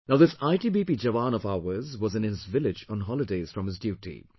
Now this ITBP Jawan of ours was in his village on holidays from his duty